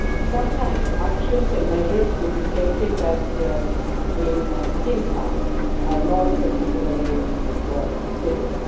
Sometimes, actions and measures will be taken that, in hindsight, are not particularly well considered.